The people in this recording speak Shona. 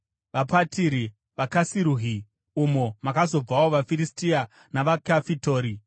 vaPatiri, vaKasiruhi (umo makazobvawo vaFiristia) navaKafitori.